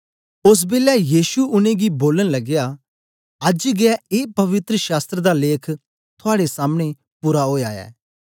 ओस बेलै यीशु उनेंगी बोलन लगया अज्ज गै ए पवित्र शास्त्र दा लेख थुआड़े सामनें पूरा ओया ऐ